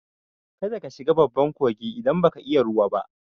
Kada ka shiga babban kogi idan baka iya ruwa ba!